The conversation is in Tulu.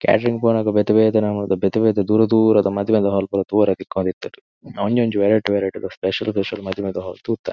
ಕೇಟರಿಂಗ್ ಪೊನಗ ಬೆತೆ ಬೆತೆ ನಮೂನೆದ ಬೆತೆ ಬೆತೆ ದೂರ ದೂರದ ಮದಿಮೆದ ಹಾಲ್ ಪೂರ ತೂಯೆರೆ ತಿಕೊಂದ್ ಇತಿಂಡ್ ಒಂಜಿ ಒಂಜಿ ವೆರೈಟೀ ವೆರೈಟೀ ಸ್ಪೆಷಲ್ ಸ್ಪೆಷಲ್ ಮದಿಮೆದ ಹಾಲ್ ತೂತ.